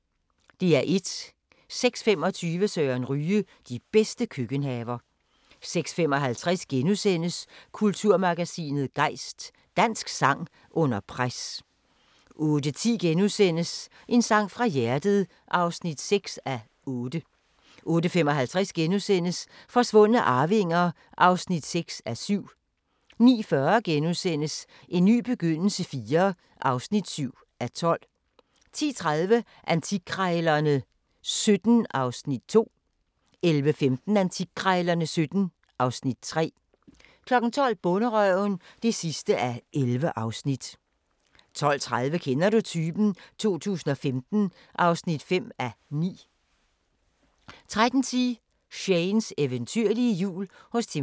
06:25: Søren Ryge: De bedste køkkenhaver 06:55: Kulturmagasinet Gejst: Dansk sang under pres * 08:10: En sang fra hjertet (6:8)* 08:55: Forsvundne arvinger (6:7)* 09:40: En ny begyndelse IV (7:12)* 10:30: Antikkrejlerne XVII (Afs. 2) 11:15: Antikkrejlerne XVII (Afs. 3) 12:00: Bonderøven (11:11) 12:30: Kender du typen? 2015 (5:9) 13:10: Shanes eventyrlige jul hos Timm Vladimir